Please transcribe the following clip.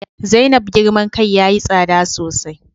Zainab girman kai yayi tsada sosai